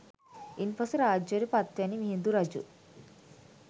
ඉන් පසු රාජ්‍යයට පත්වැනි මිහිඳු රජු